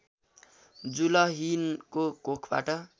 जुलहिनको कोखबाट